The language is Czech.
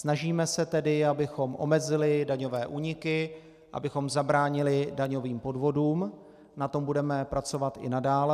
Snažíme se tedy, abychom omezili daňové úniky, abychom zabránili daňovým podvodům, na tom budeme pracovat i nadále.